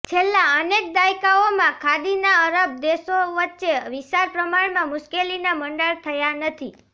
છેલ્લાં અનેક દાયકાઓમાં ખાડીના અરબ દેશો વચ્ચે વિશાળ પ્રમાણમાં મુશ્કેલીના મંડાણ થયા નથી